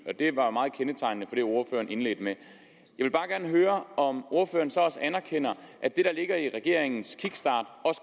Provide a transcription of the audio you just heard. det var meget kendetegnende for det ordføreren indledte med at høre om ordføreren så også anerkender at det der ligger i regeringens kickstart